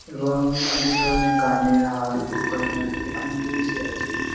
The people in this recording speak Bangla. এবং অনেক ধরনের কানের হার গয়নাগাটি অনেক জিনিসই আছে।